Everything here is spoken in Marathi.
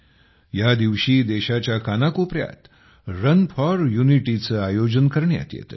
या दिवशी देशाच्या कानाकोपऱ्यात रन फॉर युनिटीचे आयोजन करण्यात येते